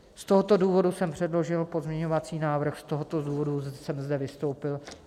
Z tohoto důvodu jsem předložil pozměňovací návrh, z tohoto důvodu jsem zde vystoupil.